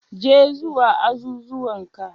Je zuwa azuzuwan ka,